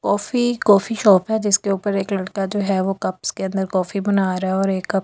Coffee coffee shop है जिसके ऊपर एक लड़का जो है कप्स के अन्दर कॉफी बना रहा है और एक कप के अन्दर वो कॉफी बना रहा।